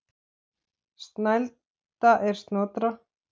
Snælda er Snotra